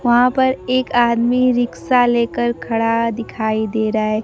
वहां पर एक आदमी रिक्शा लेकर खड़ा दिखाई दे रहा है।